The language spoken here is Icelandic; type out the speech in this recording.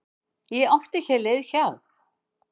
Ég átti hér leið hjá.